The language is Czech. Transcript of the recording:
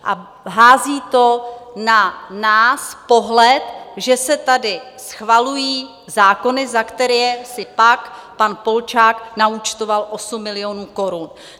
A hází to na nás pohled, že se tady schvalují zákony, za které si pak pan Polčák naúčtoval 8 milionů korun.